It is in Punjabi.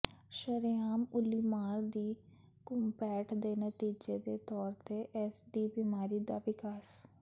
ਸ਼ਰੇਆਮ ਉੱਲੀਮਾਰ ਦੀ ਘੁਸਪੈਠ ਦੇ ਨਤੀਜੇ ਦੇ ਤੌਰ ਤੇ ਇਸ ਦੀ ਬਿਮਾਰੀ ਦਾ ਵਿਕਾਸ